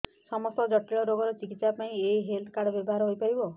ସମସ୍ତ ଜଟିଳ ରୋଗର ଚିକିତ୍ସା ପାଇଁ ଏହି ହେଲ୍ଥ କାର୍ଡ ବ୍ୟବହାର ହୋଇପାରିବ